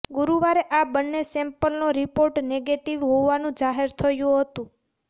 ગુરુવારે આ બંને સેમ્પલનો રિપોર્ટ નેગેટિવ હોવાનું જાહેર થયું હતું